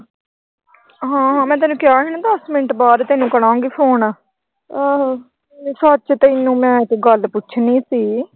ਹਾਂ-ਹਾਂ, ਮੈਂ ਤੈਨੂੰ ਕਿਹਾ ਸੀ ਨਾ ਦਸ ਮਿੰਟ ਬਾਅਦ ਕਰਾਂਗੀ ਫੋਨ। ਸੱਚ ਤੈਨੂੰ ਮੈਂ ਇੱਕ ਗੱਲ ਪੁੱਛਣੀ ਸੀ।